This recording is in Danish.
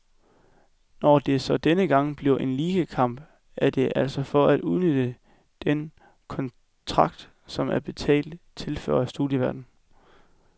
Når det så denne gang bliver en ligakamp, er det altså for at udnytte den kontrakt, som er betalt, tilføjer studieværten.